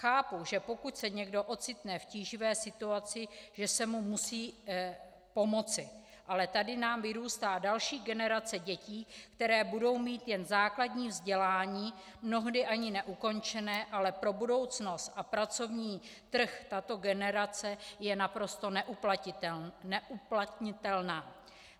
Chápu, že pokud se někdo ocitne v tíživé situaci, že se mu musí pomoci, ale tady nám vyrůstá další generace dětí, které budou mít jen základní vzdělání, mnohdy ani neukončené, ale pro budoucnost a pracovní trh tato generace je naprosto neuplatnitelná.